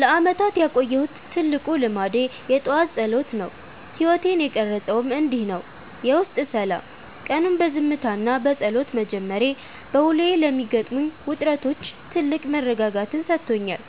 ለዓመታት ያቆየሁት ትልቁ ልማዴ የጠዋት ጸሎት ነው። ሕይወቴን የቀረፀውም እንዲህ ነው፦ የውስጥ ሰላም፦ ቀኑን በዝምታና በጸሎት መጀመሬ፣ በውሎዬ ለሚገጥሙኝ ውጥረቶች ትልቅ መረጋጋትን ሰጥቶኛል።